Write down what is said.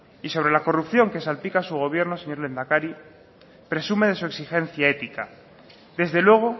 y sobre la corrupción que salpica a su gobierno señor lehendakari presume de su exigencia épica desde luego